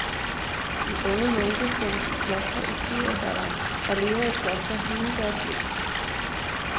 De unge munke sendes i klostre i syvårsalderen, og lever i klostret hele deres liv.